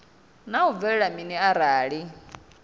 naa hu bvelela mini arali